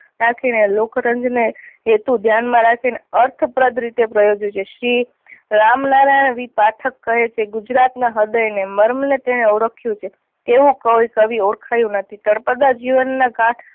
રાખી ને લોક રંજ ને હેતુ ને ધ્યાન માં રાખી ને અર્થ પ્રદ રીતે પ્રયોજ્યું છે. શ્રી રામનારાયણ વી પાઠક કહે છે ગુજરાત ના હ્રદય ને મર્મ ને તેને ઓળખ્યું છે તેવું કોઈ કવિ એ તેને ઓળખાયું નથી. તળપદા જીવનના કા